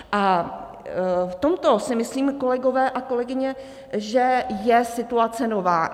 A v tomto si myslím, kolegové a kolegyně, že je situace nová.